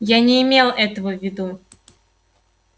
я не имел этого в виду